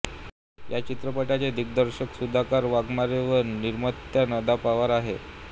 या चित्रपटाचे दिग्दर्शक सुधाकर वाघमारे व निर्मात्या नंदा पवार आहेत